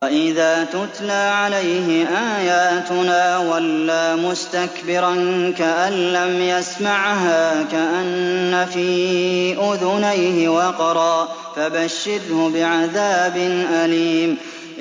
وَإِذَا تُتْلَىٰ عَلَيْهِ آيَاتُنَا وَلَّىٰ مُسْتَكْبِرًا كَأَن لَّمْ يَسْمَعْهَا كَأَنَّ فِي أُذُنَيْهِ وَقْرًا ۖ فَبَشِّرْهُ بِعَذَابٍ أَلِيمٍ